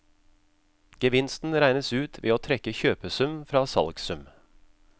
Gevinsten regnes ut ved å trekke kjøpesum fra salgssum.